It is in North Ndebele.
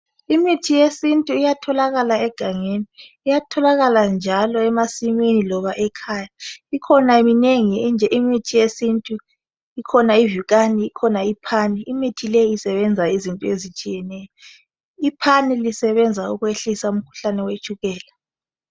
Imithi yesintu iyatholakala egangeni Iyatholakala njalo emasimini loba ekhaya Ikhona minengi imithi yesintu Ikhona ivikani . Ikhona iphani Imithi leyi isebenza izinto ezitshiyeneyo Iphani lisebenza ukwehlisa umkhuhlane wetshukela